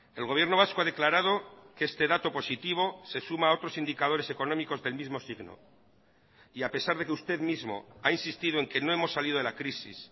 el gobierno vasco ha declarado que este dato positivo se suma a otros indicadores económicos del mismo signo y a pesar de que usted mismo ha insistido en que no hemos salido de la crisis